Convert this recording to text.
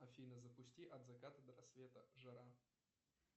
афина запусти от заката до рассвета жара